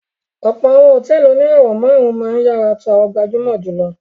Ọ̀pọ̀ àwọn hòtẹ́ẹ́lì oníràwọ̀-márùn-ún máa ń ìyàrá tó gbajúmọ̀ jù lọ.